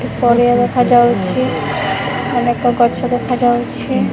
ପଡ଼ିଆ ଦେଖାଯାଉଛି ଅନେକ ଗଛ ଦେଖାଯାଉଛି।